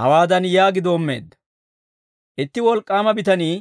Hawaadan yaagi doommeedda; «Itti wolk'k'aama bitanii